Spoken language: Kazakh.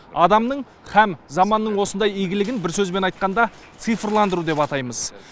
адамның һәм заманның осындай игілігін бір сөзбен айтқанда цифрландыру деп атаймыз